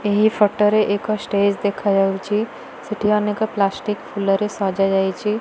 ଏଇ ଫଟ ରେ ଏକ ଷ୍ଟେଜ ଦେଖାଯାଉଚି। ସେଠି ଅନେକ ପ୍ଲାଷ୍ଟିକ୍ ଫୁଲରେ ସଜାଯାଇଚି।